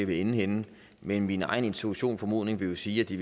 vil ende henne men min egen intuition og formodning vil jo sige at de